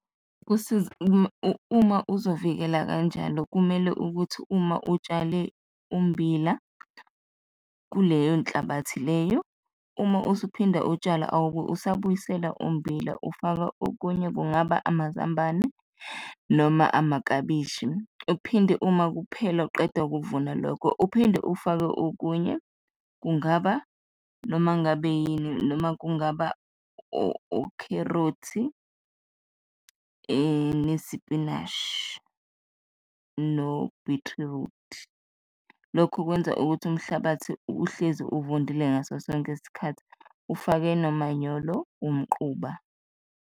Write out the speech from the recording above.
Uma uzovikela kanjalo kumele ukuthi uma utshale ummbila kuleyo nhlabathi leyo, uma usuphinda utshala, awube usabuyisela ummbila, ufaka okunye, kungaba amazambane noma amaklabishi. Uphinde uma kuphela uqeda ukuvuna lokho uphinde ufake okunye, kungaba noma ngabe yini noma kungaba ukherothi nesipinishi no-beetroot, lokhu kwenza ukuthi umhlabathi uhlezi uvundile ngaso sonke isikhathi, ufake nomanyolo umquba.